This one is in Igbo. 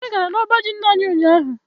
Anyị gara n'ọba ji nna anyi ụnyaahụ.